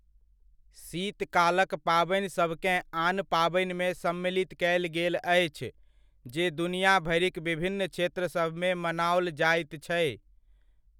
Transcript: शीत कालक पाबनिसभकेँ आन पाबनिमे सम्मिलित कयल गेल अछि जे दुनिया भरिक विभिन्न क्षेत्रसभमे मनाओल जाइत छै।